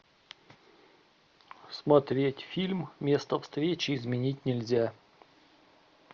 смотреть фильм место встречи изменить нельзя